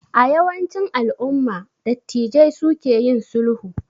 A yawancin alumma dattijai su ke yin sulhu